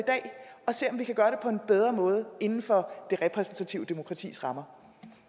i kan gøre det på en bedre måde inden for det repræsentative demokratis rammer